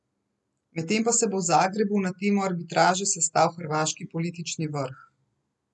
Medtem pa se bo v Zagrebu na temo arbitraže sestal hrvaški politični vrh.